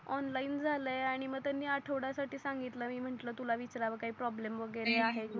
online झालय आणि मग त्यांनी आढवड्या साठी सांगितल मी म्हटल तुला विचारव काही प्रोभलेम वगेरे आहे म्हणून नाही आहे